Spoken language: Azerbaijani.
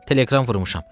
Telekram vurmuşam.